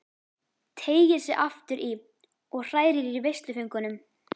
Teygir sig aftur í og hrærir í veisluföngunum.